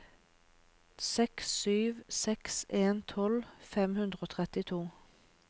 seks sju seks en tolv fem hundre og trettito